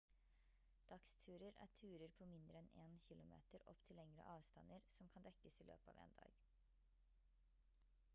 dagsturer er turer på mindre enn 1 km opp til lengre avstander som kan dekkes i løpet av 1 dag